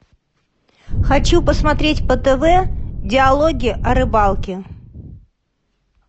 хочу посмотреть по тв диалоги о рыбалке